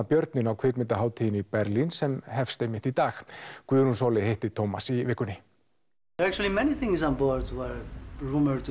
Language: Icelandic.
björninn á kvikmyndahátíðinni í Berlín sem hefst einmitt í dag Guðrún Sóley hitti Tómas í vikunni